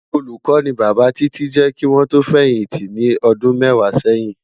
Ólúkò ni Baba Titi jè kiwòn tò fèyinti ni òdún mèwá sèyin